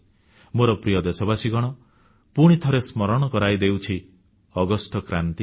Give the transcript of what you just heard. ମୋର ପ୍ରିୟ ଦେଶବାସୀଗଣ ପୁଣିଥରେ ସ୍ମରଣ କରାଇ ଦେଉଛି ଅଗଷ୍ଟ କ୍ରାନ୍ତି କଥା